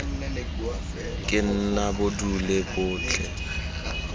ke nna bo dule botlhe